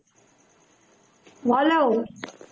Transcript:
বলো